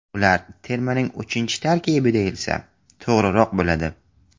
Ular termaning uchinchi tarkibi deyilsa, to‘g‘riroq bo‘ladi.